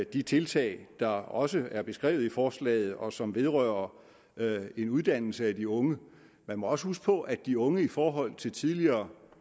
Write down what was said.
de tiltag der også er beskrevet i forslaget og som vedrører en uddannelse af de unge man må også huske på at de unge i forhold til tidligere